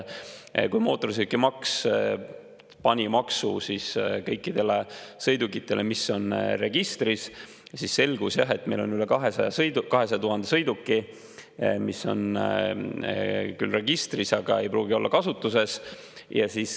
Kui mootorsõidukimaksu pani maksu kõikidele sõidukitele, mis on registris, siis selgus, et meil on üle 200 000 sõiduki, mis on küll registris, aga ei pruugi olla kasutuses.